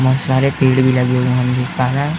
बहोत सारे पेड़ भी लगे हुए हैं। दिख पा रहा है।